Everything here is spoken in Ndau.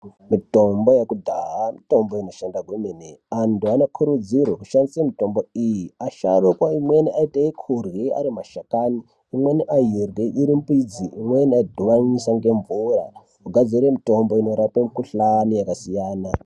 Mitombo yekudhaya mitombo inoshanda kwemene, antu anokurudzirwe kushandise mitombo iyi. Asharukwa amweni aiite kurye ari mashakani imweni airye iri mbidzi imweni aidhuvanisa ngemvura kugadzire mitombo inorape mikhuhlani yakasiyana.